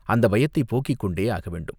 அந்தப் பயத்தைப் போக்கிக் கொண்டே ஆகவேண்டும்.